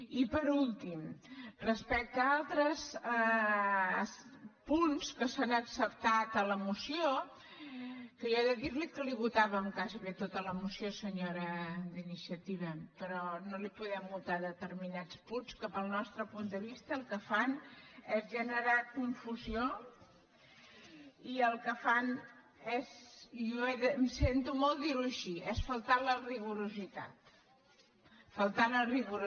i per últim respecte a altres punts que s’han acceptat a la moció que jo he de dir que li votàvem gairebé tota la moció senyora d’iniciativa però no li podem votar determinats punts que pel nostre punt de vista el que fan és generar confusió i el que fan és i sento molt dir ho així faltar al rigor faltar al rigor